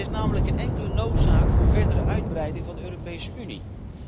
Er is namelijk geen enkele noodzaak voor verdere uitbreiding van de Europese Unie.